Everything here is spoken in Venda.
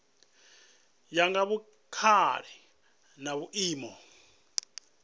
ya nga vhukale na vhuimo